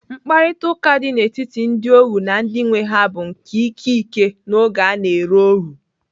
Mkparịtaụka dị n'etiti ndị ohuu na ndị nwee ha bụ nke ike ike n'oge a na-ere ohuu.